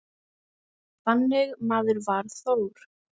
Þannig maður var Þór.